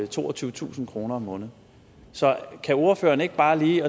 toogtyvetusind kroner om måneden så kan ordføreren ikke bare lige